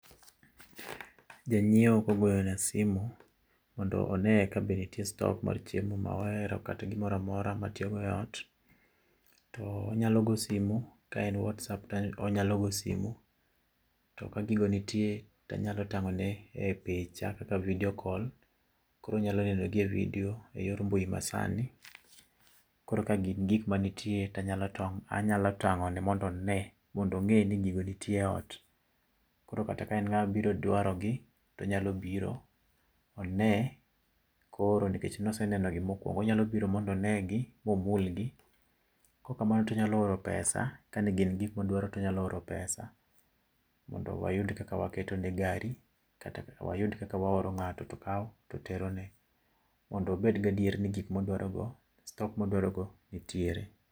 Ja nyiewo kogoyo na simu mondo oneye kabe nitie stock mar chiemo ma ohero kata gimoro amora ma atiyo go eot. To onyalo goyo simo, ka en whatsapp to onyalo goyo simu. To ka gigo nitie to anyalo tang'o ne e picha kaka video call. Koro onyalo nenogi e video eyor mbui ma sani. Koro ka gin gik mantie to anyalo tong' anyalo tang'one mondo one mondo ong'e ni gigo nitie eot. Koro kata ka en ng'ama biro dwarogi to onyalo biro one koro nikech ne oseneno gi mokuongo, onyalo biro mondo onegi, momulgi kaok kamano to onyalo oro pesa ,kane gin gik modwaro to onyalo oro pesa mondo wayud kaka waketo ne gari kata wayud kaka waoro ng'ato tokawo to terone mondo obed gi adieri ni gik modwarogo stock modwarogo nitiere.